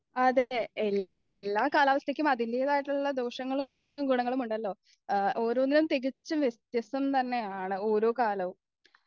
എല്ലാ കാലാവസ്ഥക്കും അതിന്റെതായിട്ടുള്ള ദോഷങ്ങളും ഗുണങ്ങളുമുണ്ടല്ലോ ആ ഓരോന്നും തികച്ചും വ്യത്യസ്തം തന്നെയാണ് ഓരോ കാലവും